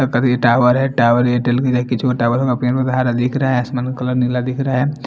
तभी टावर है टावर दिख रहा है आसमानी कलर नीला दिख रहा है।